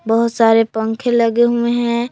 बहुत सारे पंखे लगे हुए हैं।